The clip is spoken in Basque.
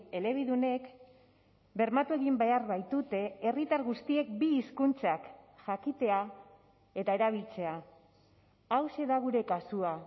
elebidunek bermatu egin behar baitute herritar guztiek bi hizkuntzak jakitea eta erabiltzea hauxe da gure kasua